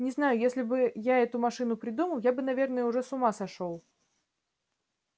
не знаю если бы я эту машину придумал я бы наверное уже с ума сошёл